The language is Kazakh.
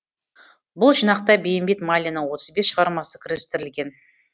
бұл жинақта бейімбет майлиннің отыз бес шығармасы кірістірілген